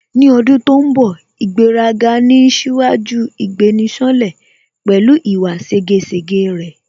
Ní ọdún tó ń bọ̀ ' ìgbéraga ni ń ṣíwájú ìgbéni-ṣánlẹ̀" pẹ̀lú ìwà ségesège rẹ̀